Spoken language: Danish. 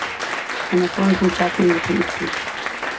Han har fået en kontrakt med en japansk klub.